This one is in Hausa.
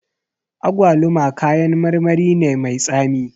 Agwaluma kayan marmari ne mai tsami